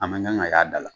A man kan ka y'a da la